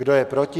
Kdo je proti?